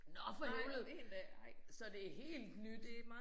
Nåh for helvede så det helt nyt